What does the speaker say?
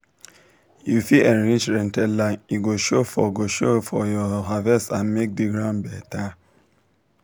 you fit enrich rented land e go show for go show for your harvest and make the ground better.